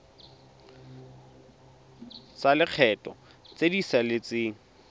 tsa lekgetho tse di saletseng